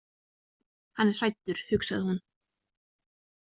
Hann er hræddur, hugsaði hún.